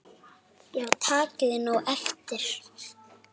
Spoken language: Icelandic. Já takið nú eftir.